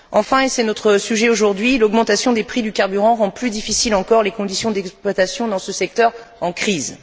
Enfin, et c'est notre sujet aujourd'hui, l'augmentation des prix du carburant rend plus difficiles encore les conditions d'exploitation dans ce secteur en crise.